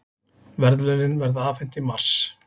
Verðlaunin verða afhent í mars